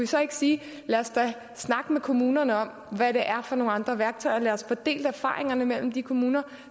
så ikke sige lad os da snakke med kommunerne om hvad der er af andre værktøjer lad os få delt erfaringerne mellem de kommuner